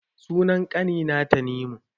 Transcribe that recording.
Sunan ƙani na Tanimu